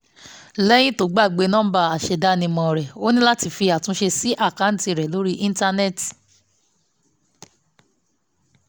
lẹ́yìn tó gbàgbé nọ́ńbà aṣèdánimọ̀ rẹ̀ ó ní láti fi àtúnṣe sí àkáǹtì rẹ̀ lórí íńtánẹ́ẹ̀tì